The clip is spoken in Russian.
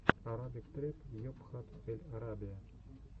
арабик трэп йобхат эль арабия